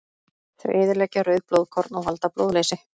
Þau eyðileggja rauð blóðkorn og valda blóðleysi.